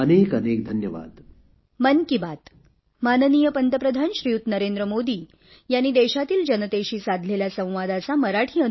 अनेक अनेक धन्यवाद